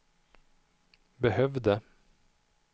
behövde